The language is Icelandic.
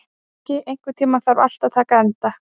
Toggi, einhvern tímann þarf allt að taka enda.